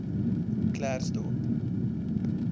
klersdorp